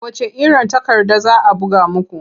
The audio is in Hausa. A wacce iron takarda za a buga muku?